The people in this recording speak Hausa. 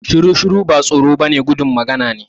Shiru-shiru ba tsoro ba ne gudun magana ne